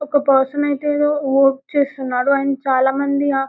ఒక పర్సన్ ఐతే ఎదో వర్క్ చేస్తున్నాడు అండ్ చాలా మంది ఆ--